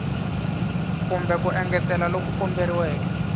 kumbe ku engetela loku komberiweke